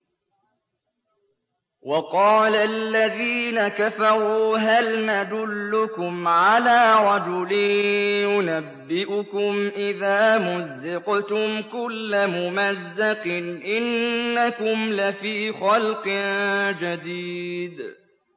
وَقَالَ الَّذِينَ كَفَرُوا هَلْ نَدُلُّكُمْ عَلَىٰ رَجُلٍ يُنَبِّئُكُمْ إِذَا مُزِّقْتُمْ كُلَّ مُمَزَّقٍ إِنَّكُمْ لَفِي خَلْقٍ جَدِيدٍ